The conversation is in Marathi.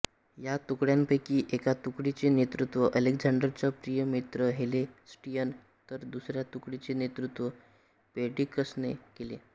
या तुकड्यांपैकी एका तुकडीचे नेतृत्व अलेक्झांडरचा प्रिय मित्र हेफेस्टियन तर दुसऱ्या तुकडीचे नेतृत्व पेर्डिक्कसने केले